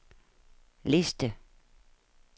liste